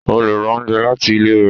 o le rá oúnjẹ lati ile rẹ.